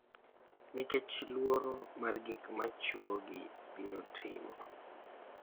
nikech luoro mar gik ma chwogi biro timo,